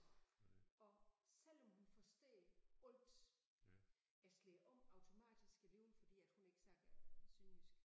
Og selvom hun forstår alt jeg slår om automatisk alligevel fordi at hun ikke snakker sønderjysk